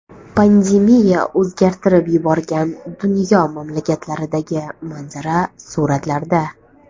Pandemiya o‘zgartirib yuborgan dunyo mamlakatlaridagi manzara suratlarda.